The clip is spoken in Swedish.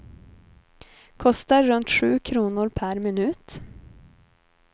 Kostar runt sju kronor per minut.